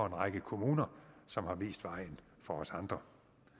en række kommuner som har vist vejen for os andre